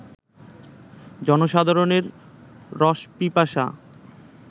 জনসাধারণের রসপিপাসা